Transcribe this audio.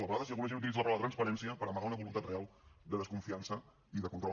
a vegades hi ha alguna gent que utilitza la paraula transparència per amagar una voluntat real de desconfiança i de control